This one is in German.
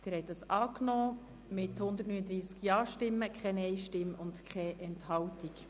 Sie haben den Antrag angenommen mit 139 Ja-, 0 Nein-Stimmen und 0 Enthaltungen.